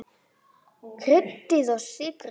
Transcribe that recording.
Kryddið og sykrið.